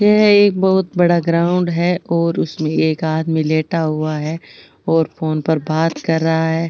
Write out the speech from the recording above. यह एक बहुत बड़ा ग्राउंड है और उसमे एक आदमी लेटा हुआ है और फ़ोन पर बात कर रहा है।